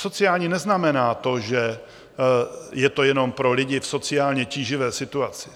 Sociální neznamená to, že je to jenom pro lidi v sociálně tíživé situaci.